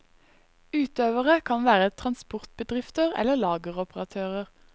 Utøvere kan være transportbedrifter eller lageroperatører.